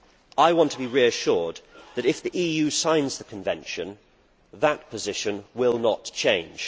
I want to be reassured that if the EU signs the convention, that position will not change.